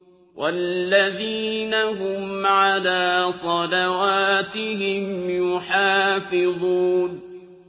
وَالَّذِينَ هُمْ عَلَىٰ صَلَوَاتِهِمْ يُحَافِظُونَ